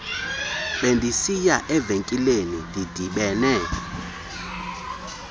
bendisiya evenkileni ndidibene